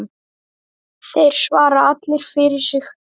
Þeir svara allir fyrir sig.